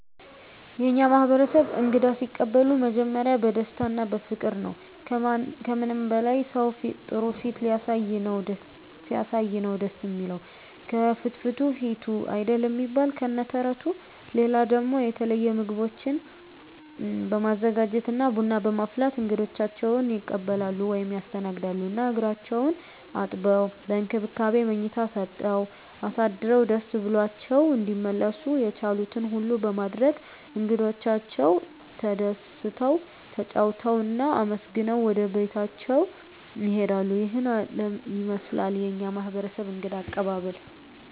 የእኛ ማህበረሰብ እንግዳ ሲቀበሉ መጀመሪያ በደስታ እና በፍቅር ነዉ። ከምንም በላይ ሰዉ ጥሩ ፊት ሲያሳይ ነዉ ደስ እሚለዉ፤ ከፍትፍቱ ፊቱ አይደል እሚባል ከነ ተረቱ። ሌላ ደሞ የተለየ ምግቦችን በማዘጋጀት እና ቡና በማፍላት እንግዶቻቸዉን ይቀበላሉ (ያስተናግዳሉ) ። እና እግራቸዉን አጥበዉ፣ በእንክብካቤ መኝታ ሰጠዉ አሳድረዉ ደስ ብሏቸዉ እንዲመለሱ የቻሉትን ሁሉ በማድረግ እንግዶቻቸዉ ተደስተዉ፣ ተጫዉተዉ እና አመስግነዉ ወደቤታቸዉ ይሄዳሉ። ይሄን ይመስላል የኛ ማህበረሰብ እንግዳ አቀባበል።